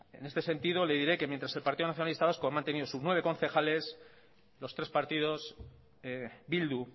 en este sentido le diré que mientras el partido nacionalista vasco ha mantenido sus nueve concejales los tres partidos bildu